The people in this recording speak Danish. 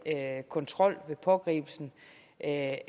kontrol ved pågribelsen af